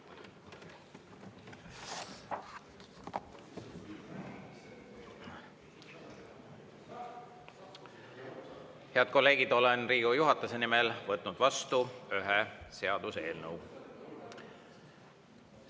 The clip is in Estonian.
Head kolleegid, olen Riigikogu juhatuse nimel võtnud vastu ühe seaduseelnõu.